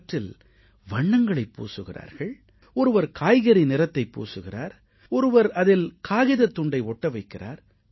அவற்றில் வண்ணங்களைப் பூசுகிறார்கள் ஒருவர் காய்கறி நிறத்தைப் பூசுகிறார் ஒருவர் அதில் காகிதத் துண்டை ஒட்ட வைக்கிறார்